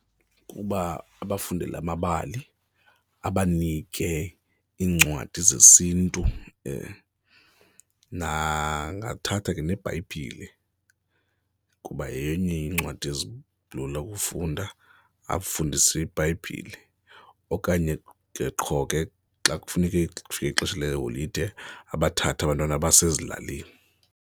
Ukuba abafundele amabali, abanike iincwadi zesiNtu angathatha ke neBhayibhile kuba yenye yeencwadi ezilula ukukufunda, afundise iBhayibhile okanye ke qho ke xa kufuneke kufike ixesha leholide abathathe abantwana abase ezilalini.